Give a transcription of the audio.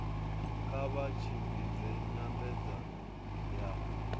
kha vha tshimbidze nyambedzano ya